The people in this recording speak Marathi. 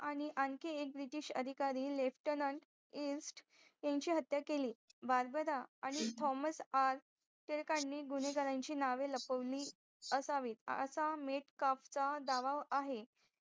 आणखीन एक BRITESH अधिकारी लेफ्टनंट इस्ट यांची हत्या केली बार्बरा आणि थॉमस आर टिळकांनी गुणेगारांची नावे लपवली असावी असा मेटकाप चा दावा आहे